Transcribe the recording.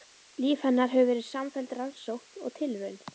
Líf hennar hefur verið samfelld rannsókn og tilraunir.